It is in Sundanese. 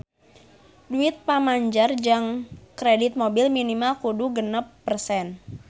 Duit pamanjer jang kredit mobil minimal kudu genep persen